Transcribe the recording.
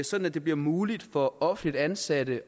sådan at det bliver muligt for offentligt ansatte